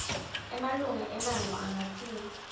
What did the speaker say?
emalunga emmango angatsintsa